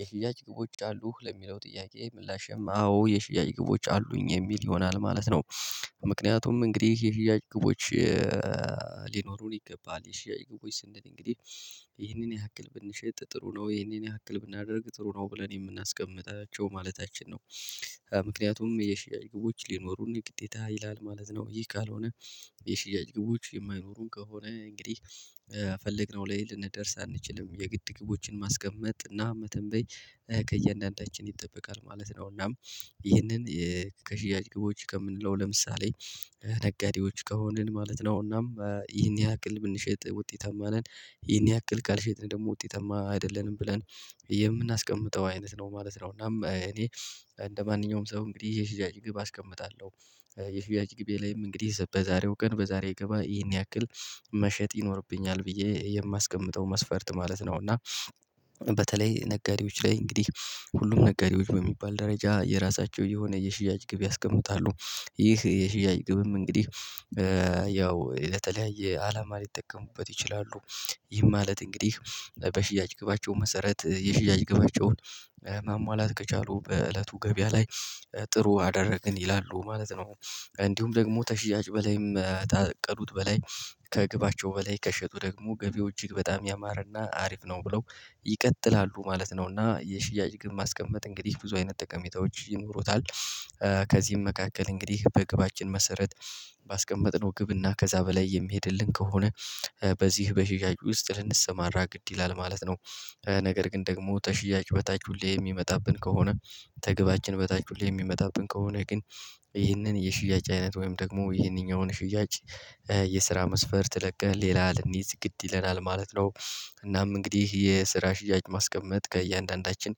የሽያጭ ግቦች አሉህ ለሚለው ጥያቄ ምላሽም አዎ የሽያጭ ግቦች አሉኝ የሚል ይሆናል ማለት ነው። ምክንያቱም እንግዲህ የሽያጭ ግቦች። ሊኖሩን ይገባል የሺያጭ ግቦች ስንል እንግዲህ ይሄንን ያክል ብንሸጥ ጥሩ ነው ይሄንን ያክል ብናደርግ ጥሩ ነው ብለን የምናስቀምጣቸው ማለታችን ነው። ምክንያቱም የሽያጭ ግቦች ሊኖሩን የግዴታ ይላል ማለት ነው ይሄ ካልሆነ። የሽያጭ ግቦች የማይኖሩን ከሆነ እንግዲህ የፈልግነው ላይ ልንደርስ አንችልም የግድ ግቦችን ማስቀመጥ እና መተንበይ ከእያንዳንዳችን ይጠበቃል ማለት ነው። እናም ይህንን ከሽያጭ ግቦች ከምንለው ለምሳሌ ነጋዴዎች ከሆንን ማለት ነው እናም ይህን ያክል ብንሸጥ ውጤታማ ነን። ይህን ያክል ካል ሸጥን ደግሞ ውጤታማ አይደለንም ብለን የምናስቀምጠው አይነት ነው ማለት ነው። እና እኔ እንደማንኛውም ሰው እንግዲህ የሽያጭ ግብ አስቀምጣለሁ። የሽያጭ ግቤ ላይም እንግዲህ በዛሬው ቀን በዛሬ ገበያ ይሄን ያክል መሸጥ ይኖርብኛል ብዬ የማስቀምጠው መስፈርት ማለት ነው። እና በተለይ ነጋዴዎች ላይ እንግዲህ ሁሉም ነጋዴዎች በሚባል ደረጃ የራሳቸው የሆነ የሽያጭ ግብ ያስቀምጣሉ። ይህ የሽያጭ ግብም እንግዲህ ያው ለተለያየ አላማ ሊጠቀሙበት ይችላሉ። ይህ ማለት እንግዲህ በሽያጭ ግባቸው መሰረት የሽያጭ ግባቸውን ማሟላት ከቻሉ በእለቱ ገበያ ላይ ጥሩ አደረግን ይላሉ ማለት ነው። እንዲሁም ደግሞ ከሽያጭ በላይም ካቀዱት በላይ ከግብአቸው በላይ ከሸጡ ደግሞ ገቢው እጅግ በጣም ያማረና አሪፍ ነው ብለው ይቀጥላሉ ማለት ነው። እና የሽያጭ ግን ማስቀመጥ እንግዲህ ብዙ አይነት ጠቀሜታዎች ይኖሩታል። መካከል እንግዲህ በግብአችን መሰረት ባስቀመጥነው ግብና ከዛ በላይ የሚሄድልን ከሆነ በዚህ በሽያጭ ውስጥ ልንሰማራ ግድ ይላል ማለት ነው። ነገር ግን ደግሞ ከሽያጭ በታች ሁሌ የሚመጣብን ከሆነ ከግባችን በታች ሁሌ የሚመጣብን ከሆነ ግን ይህንን የሽያጭ አይነት ወይም ደግሞ ይህንኛውን ሽያጭ የስራ መስፈርት ለቀህ ሌላ ልንይዝ ግድ ይለናል ማለት ነው። እናም እንግዲህ የስራ ሽያጭ ማስቀመጥ ከእያንዳንዳችን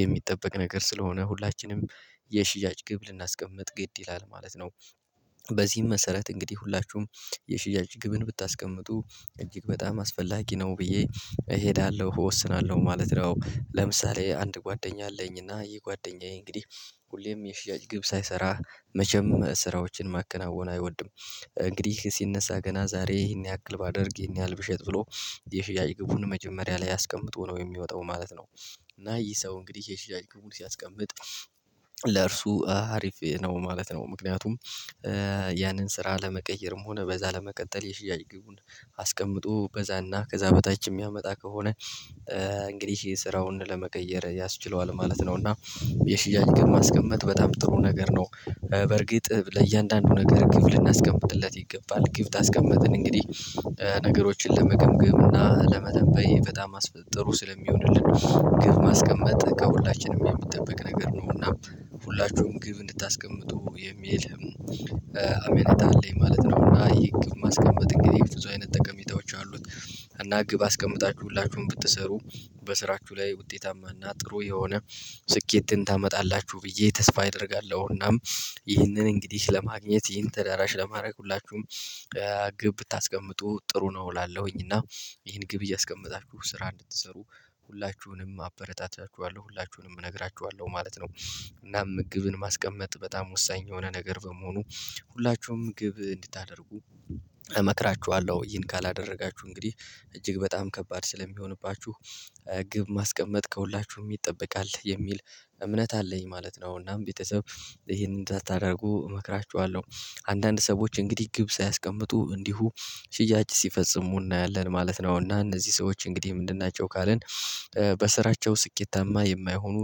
የሚጠበቅ ነገር ስለሆነ ሁላችንም የሽያጭ ግብ ልናስቀምጥ ግድ ይላል ማለት ነው። በዚህም መሰረት እንግዲህ ሁላችሁም የሽያጭ ግብን ብታስቀምጡ እጅግ በጣም አስፈላጊ ነው ብዬ እሄዳለሁ እወስናለሁ ማለት ነው። ለምሳሌ አንድ ጓደኛ አለኝና ይህ ጓደኛዬ እንግዲህ ሁሌም የሽያጭ ግብ ሳይሰራ መጀመሪያ ስራዎችን ማከናወን አይወድም። እንግዲህ ሲነሳ ገና ዛሬ ይሄን ያክል ባደርግ ይሄን ያህል ብሸጥ ብሎ የሽያጭ ግቡን መጀመሪያ ላይ አስቀምጦ ነው የሚወጣው ማለት ነው። እና ይህ ሰው እንግዲህ የሽያጭ ግቡን ሲያስቀምጥ ለእርሱ አሪፍ ነው ማለት ነው። ምክንያቱም ያንን ስራ ለመቀየርም ሆነ በዛ ለመቀጠል የሽያጭ ግቡን አስቀምጦ በዛና ከዛ በታች የሚያመጣ ከሆነ እንግዲህ ስራውን ለመቀየር ያስችለዋል ማለት ነው። እና የሽያጭ ግብ ማስቀመጥ በጣም ጥሩ ነገር ነው። በርግጥ ለእያንዳንዱ ነገር ግብ ልናስቀምጥለት ይገባል ግብ ከስቀመጥን እንግዲህ ነገሮችን ለመገምገም እና ለመተንበይ በጣም ጥሩ ስለሚሆንልን ግብ ማስቀመጥ ከሁላችንም የምትጠብቅ ነገር ነው እና ሁላችሁም ግብ እንድታስቀምጡ የሚል አሜንታ አለኝ ማለት ነው። እና የግብ ማስቀመጥ እንግዲህ ብዙ አይነት ጠቀሚታዎች አሉት። እና ግብ አስቀምጣችሁ ሁላችሁም ብትሰሩ በስራችሁ ላይ ውጤታማና ጥሩ የሆነ ስኬትን ታመጣላችሁ ብዬ ተስፋ አደርጋለሁና። ይህንን እንግዲህ ለማግኘት ይህን ተደራሽ ለማድረግ ሁላችሁም ግብ ብታስቀምጡ ጥሩ ነው እላለሁኝ። እና ይሄን ግብ እያስቀመጣችሁ ስራ እንድትሰሩ ሁላችሁንም አበረታታችኋለሁ ሁላችሁንም እነግራችኋለሁ ማለት ነው። እናም ግብን ማስቀመጥ በጣም ወሳኝ የሆነ ነገር በመሆኑ ሁላችሁም ግብ እንድታደርጉ እመክራችኋለሁ እሄን ካላደረጋችሁ እንግዲህ እጅግ በጣም ከባድ ስለሚሆንባችሁ ግብ ማስቀመጥ ከሁላችሁም ይጠበቃል የሚል እምነት አለኝ ማለት ነው። እናም ቤተሰብ ይሄንን እንድትደርጉ እመክራችኋለሁ አንዳንድ ሰዎች እንግዲህ ግብ ሳያስቀምጡ እንዲሁ ሽያጭ ሲፈጽሙ እናያለን ማለት ነው። እና እነዚህ ሰዎች እንግዲህ ምንድን ናቸው ካልን? በስራቸው ስኬታማ የማይሆኑ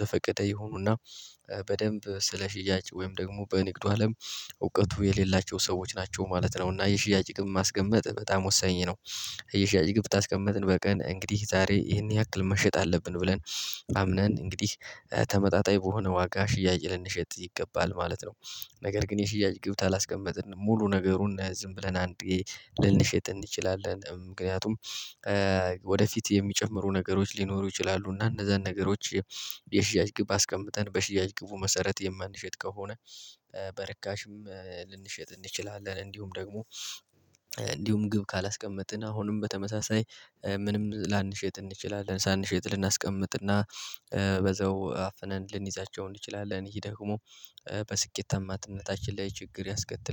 ዘፈቀደ ይሁኑና በደንብ ስለ ሽያጭ ወይም ደግሞ በንግዱ አለም እውቀቱ የሌላቸው ሰዎች ናቸው ማለት ነው። እና የሽያጭ ግብ ማስቀመጥ በጣም ወሳኝ ነው። ታስቀምጥን በቀን እንግዲህ ዛሬ ይሄን ያክል መሸጥ አለብን ብለን አምነን እንግዲህ ተመጣጣኝ በሆነ ዋጋ ሽያጭ ልንሸጥ ይገባል ማለት ነው። ነገር ግን የሽያጭ ግብት ካላስቀመጥን ሙሉ ነገሩን ዝም ብለን አንድ ልንሸጥ እንችላለን ምክንያቱም። ወደፊት የሚጨምሩ ነገሮች ሊኖሩ ይችላሉ እና እነዛን ነገሮች የሽያጭ ግብ አስቀምጠን በሽያጭ ግቡ መሰረት የማንሸጥ ከሆነ። በረካሽም ልንሸጥ እንችላለን። እንዲሁም ደግሞ እንዲሁም ግብ ካላስቀመጥን አሁንም በተመሳሳይ ምንም ላንሸጥ እንችላለን። ሳንሸጥ ልናስቀምጥና በዛው አፍነን ልንይዛቸው እንችላለን። ይሄ ደግሞ በስኬታማነታችን ላይ ችግር ያስከትላል